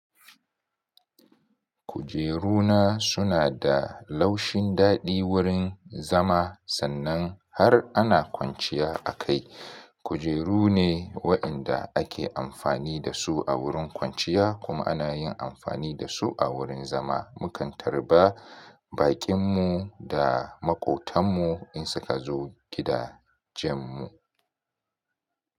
Kujeru na suna da laushin daɗi wurin zama sannan har ana kwanciya a kai. Kujeru ne waɗanda ake amfani da su a wurin kwanciya kuma ana yin amfani da su a wurin zama. Mukan tarba bakin mu da maƙotanmu in suka zo gida jam mu.